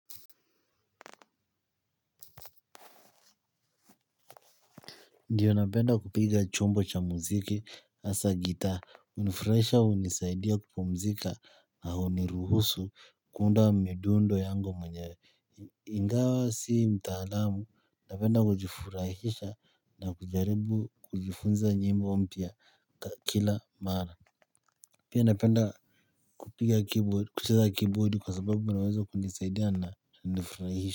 Ndiyo napenda kupiga chombo cha muziki hasa gitaa hunifurahisha hunisaidia kupumzika na huniruhusu kuunda midundo yangu mwenyewe. Ingawa si mtaalamu napenda kujifurahisha na kujaribu kujifunza nyimbo mpya kila mara. Pia napenda kupiga keyboard kucheza keyboard kwa sababu unaweza kunisaidia na nifurahisha.